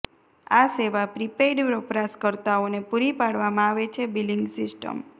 આ સેવા પ્રીપેઇડ વપરાશકર્તાઓને પૂરી પાડવામાં આવે છે બિલિંગ સિસ્ટમ